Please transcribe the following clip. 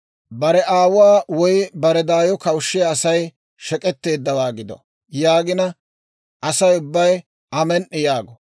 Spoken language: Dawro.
« ‹Bare aawuwaa woy bare daayo kawushshiyaa Asay shek'etteeddawaa gido› yaagina, Asay ubbay, ‹Amen"i!› yaago.